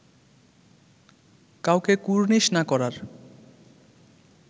কাউকে কুর্নিশ না করার